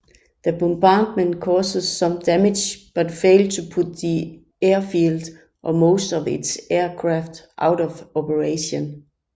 The bombardment caused some damage but failed to put the airfield or most of its aircraft out of operation